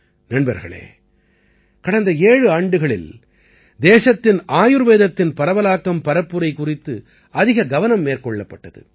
நண்பர்களே கடந்த ஏழு ஆண்டுகளில் தேசத்தின் ஆயுர்வேதத்தின் பரவலாக்கம் பரப்புரை குறித்து அதிக கவனம் மேற்கொள்ளப்பட்டது